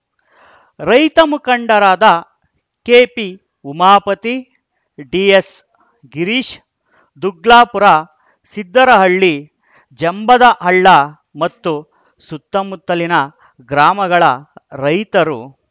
ರೈತ ಮುಖಂಡರಾದ K P Umapathi D S Girish Duglapura Siddarahalli Jambadahalla ಮತ್ತು ಸುತ್ತಮುತ್ತಲಿನ ಗ್ರಾಮಗಳ ರೈತರು